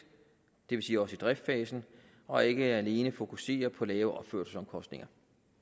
det vil sige også i driftsfasen og ikke alene fokusere på lave opførelsesomkostninger